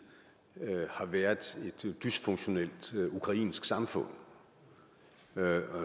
har været et dysfunktionelt ukrainsk samfund